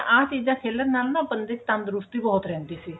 ਕਿਉਂਕਿ ਆਹ ਚੀਜਾ ਖੇਲਣ ਨਾਲ ਨਾ ਬੰਦੇ ਚ ਤੰਦਰੁਸਤੀ ਬਹੁਤ ਰਹਿੰਦੀ ਸੀ